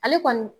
Ale kɔni